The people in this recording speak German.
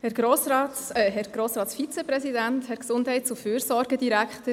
Ich gebe der Motionärin das Wort.